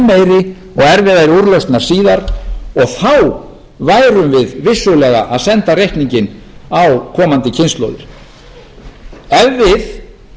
meiri og erfiðari úrlausnar síðar og þá værum við vissulega að senda reikninginn á komandi kynslóðir ef við